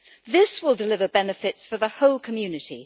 This will deliver benefits for the whole community.